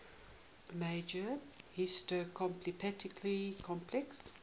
major histocompatibility complex